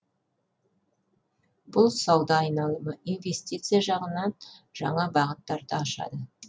бұл сауда айналымы инвестиция жағынан жаңа бағыттарды ашады